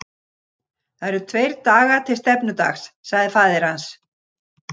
Það eru tveir dagar til stefnudags, sagði faðir hans.